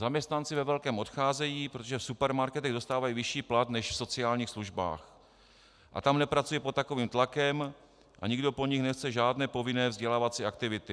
Zaměstnanci ve velkém odcházejí, protože v supermarketech dostávají vyšší plat než v sociálních službách a tam nepracují pod takovým tlakem a nikdo po nich nechce žádné povinné vzdělávací aktivity.